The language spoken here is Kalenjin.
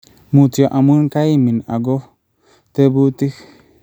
Mutyo amu kaimin ago tebutik